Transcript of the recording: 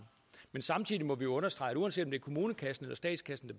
men samtidig må vi understrege at uanset om det er kommunekassen eller statskassen